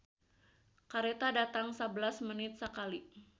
"Kareta datang sabelas menit sakali"